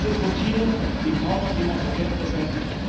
Es ist Routine, die kaum noch jemand zur Kenntnis nimmt.